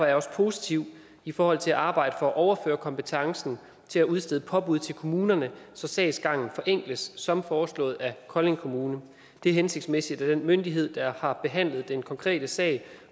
jeg også positiv i forhold til at arbejde for at overføre kompetencen til at udstede påbud til kommunerne så sagsgangen forenkles som foreslået af kolding kommune det er hensigtsmæssigt at den myndighed der har behandlet den konkrete sag